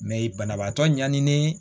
Mɛ banabaatɔ ɲani